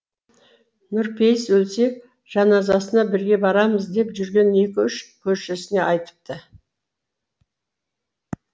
нұрпейіс өлсе жаназасына бірге барамыз деп жүрген екі үш көршісіне айтыпты